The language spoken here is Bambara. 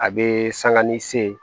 A bee sanga ni see